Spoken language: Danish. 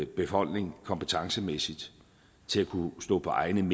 befolkning kompetencemæssigt til at kunne stå på egne